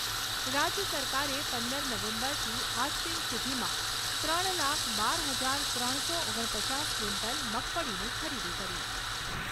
રાજ્ય સરકારે પંદર નવેમ્બરથી આજ દિન સુધીમાં ત્રણ લાખ બાર હજાર ત્રણસો ઓગણ પચાસ ક્વિન્ટલ મગફળીની ખરીદી કરી